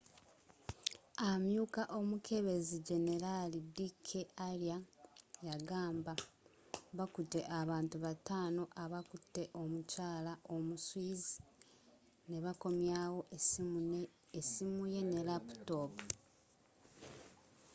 amyuka omukebezi generaali d k arya yagamba bakute abantu bataano abakute omukyala omu swiss nebakomyawo essimu ye ne laputoopu